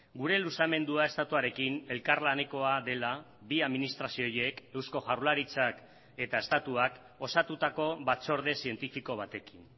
gure luzamendua estatuarekin elkarlanekoa dela bi administrazio horiek eusko jaurlaritzak eta estatuak osatutako batzorde zientifiko batekin